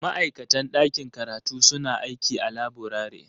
Ma'aikatan ɗakin karatu suna aiki a laburare.